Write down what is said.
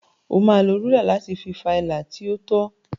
O máa lo rúlà láti fa ilà tí ó tọ.